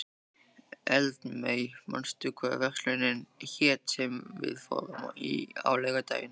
Eldmey, manstu hvað verslunin hét sem við fórum í á laugardaginn?